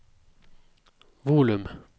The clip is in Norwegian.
volum